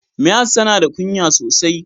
Mihas tana da ƙunya sosai.